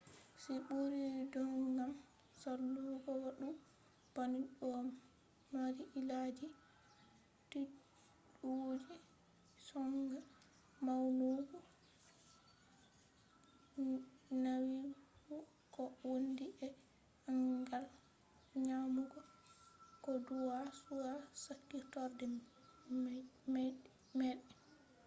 si ɓuri don gam salugo wadu bannin do mari illaji tiɗudi; sonja mawnugo nyawu ko wondi e angal nyamugo ko duwa be sakkitorɗe maiɗe